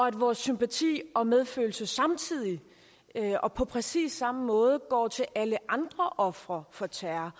at vores sympati og medfølelse samtidig og på præcis samme måde går til alle andre ofre for terror